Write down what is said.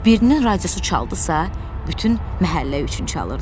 Birinin radiosu çaldısa, bütün məhəllə üçün çalırdı.